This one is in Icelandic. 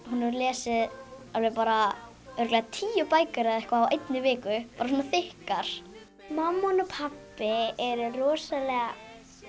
hún lesið alveg bara örugglega tíu bækur eða eitthvað á einni viku bara svona þykkar mamma hennar og pabbi eru rosalega